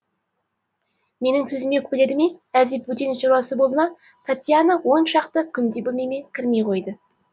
менің сөзіме өкпеледі ме әлде бөтен шаруасы болды ма татьяна он шақты күндей бөлмеме кірмей қойды